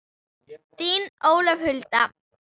Þín, Ólöf Hulda.